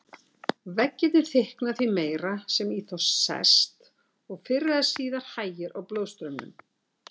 Veggirnir þykkna því meira sem í þá sest, og fyrr eða síðar hægir á blóðstraumnum.